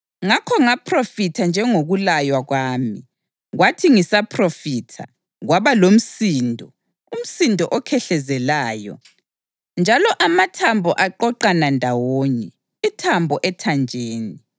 Ngakho ngaphrofitha njengokulaywa kwami. Kwathi ngisaphrofitha, kwaba lomsindo, umsindo okhehlezelayo, njalo amathambo aqoqana ndawonye, ithambo ethanjeni.